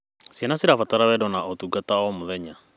Ciana cirabatara wendo na ũtungata o mũthenya.